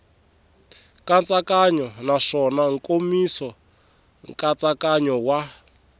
nkatsakanyo naswona nkomiso nkatsakanyo wa